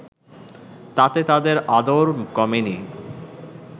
তাতে তাঁদের আদর কমেনি